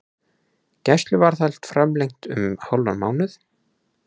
Gæsluvarðhald framlengt um hálfan mánuð